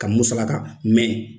Ka musalaka mɛ